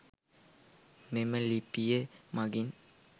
මෙම ලිපිය මගින්